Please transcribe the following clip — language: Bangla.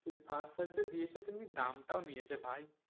ফাস্ট চার্জার দিয়েছে তেমনি দামটাও নিয়েছে ভাই।